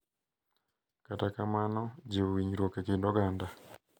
Kata kamano, jiwo winjruok e kind oganda,